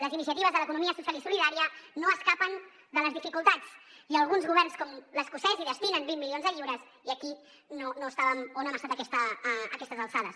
les iniciatives de l’economia social i solidària no s’escapen de les dificultats i alguns governs com l’escocès hi destinen vint milions de lliures i aquí no estàvem o no hem estat a aquestes alçades